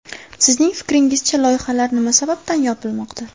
Sizning fikringizcha, loyihalar nima sababdan yopilmoqda?